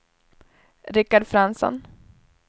Rickard Fransson